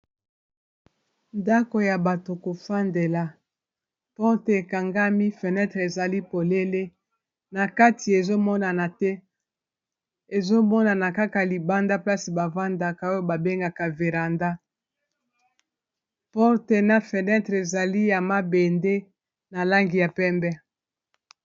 Ndako ya bato kofandela porte ekangami fenetre ezali polele na kati, ezomonana te ezomonana kaka libanda mplaci bavandaka oyo babengaka viranda porte na fenetre ezali ya mabende na langi ya pembe.